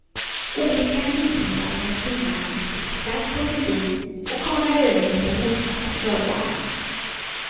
Olyckan inträffade när kvinnan fick sladd på sin bil och kanade över på motsatta körbanan.